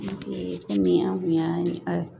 Komi an kun y'a